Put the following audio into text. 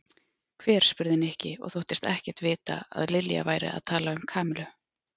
Hver? spurði Nikki og þóttist ekkert vita að Lilja væri að tala um Kamillu.